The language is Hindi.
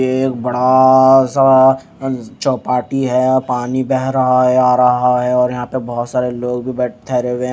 एक बड़ा सा चौपाटी है पानी बह रहा आ रहा है आ रहा है और यहां पर बहुत सारे लोग भी बैठे ठहरे हुए हैं।